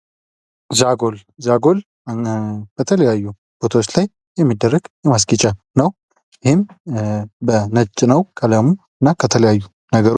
ዛጎል በተለያዩ ቦታዎች ላይ የሚደረግ የማስኬጃ ነው። ይህም በነጭ ነው ቀለሙ። እና ከተለያዩ ነገሮች ...